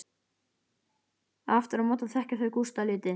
Aftur á móti þekkja þau Gústa lítið.